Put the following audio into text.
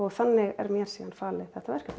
þannig er mér síðan falið þetta verkefni